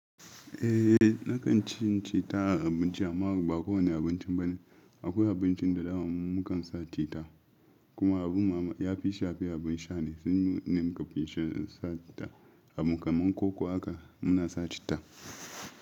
Eh, nakan ci citta a abinci. Amma ba kowane abinci bane. Akwai abincin da daman mu mukan sa cita. Kuma abun ya fi shafe abin sha ne. Nan ne muka fi sha, sa cita. Abin kamar koko haka muna sa citta.